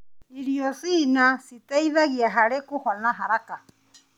Irio cina citeithagia harĩ kũhona haraka.